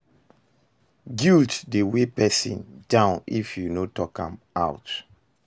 Guilt dey weigh person down if you no talk am out